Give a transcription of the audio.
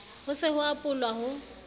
ho se ho apolwa ho